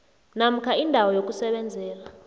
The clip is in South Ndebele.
namkha indawo yokusebenzela